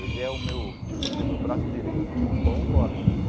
Ele é o meu tipo assim o meu braço direito, igual agora.